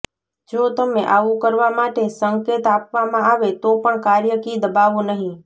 જો તમે આવું કરવા માટે સંકેત આપવામાં આવે તો પણ કાર્ય કી દબાવો નહીં